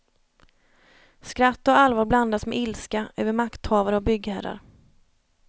Skratt och allvar blandas med ilska över makthavare och byggherrar.